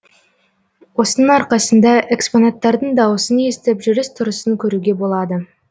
осының арқасында экспонаттардың дауысын естіп жүріс тұрысын көруге болады